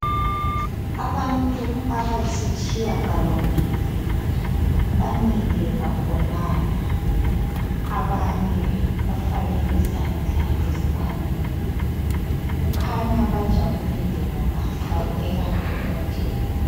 Abantu abasiyitshiyagalombili bamile bagonana abanye bafake izandla ezikhwameni kukhanya bajabulile ngoba babukeka bebobotheka.